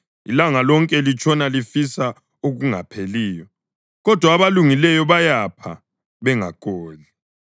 Ilanga lonke litshona lifisa okungapheliyo, kodwa abalungileyo bayapha bengagodli.